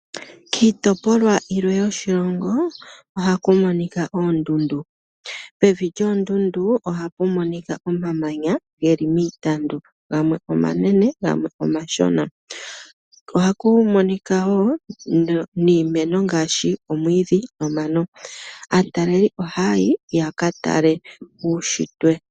Kiitopolwa yillwe yoshilongo ohaku monika oondundu. Pevi lyoondundu ohapu monika omamanya geli miitandu gamwe omanene gamwe omashona. Ohaku monika wo iimeno ngaashi omwiidhi nomano. Aatalelipo ohaa yi yaka tale uushitwe.